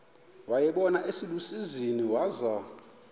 wayibona iselusizini waza